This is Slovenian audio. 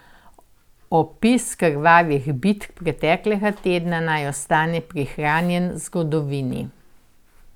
Opis krvavih bitk preteklega tedna naj ostane prihranjen zgodovini.